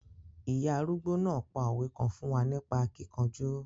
Ìya arúgbó náà pa òwe kan fún wa nípa akíkanjú.